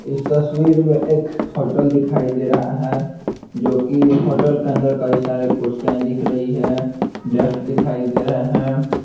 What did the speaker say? इस तस्वीर में एक होटल दिखाई दे रहा है जो कि होटल के अंदर कई सारे कुर्सिया दिख रही है डेक्स दिखाई दे रहे हैं।